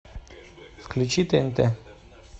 включи тнт